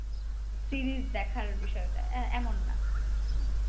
Series দেখার বিষয়টা এ~ এমন না। হম